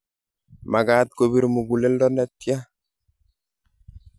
Magaat kobir muguleldo netyaa.